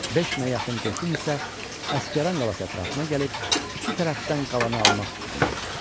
Beş minə yaxın qoşun isə Əsgəran qalası ətrafına gəlib, iki tərəfdən qalanı almaq fikrində idi.